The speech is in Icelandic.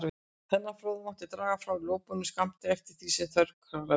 Þennan forða mátti draga frá lögboðnum skammti, eftir því sem þörf krafði.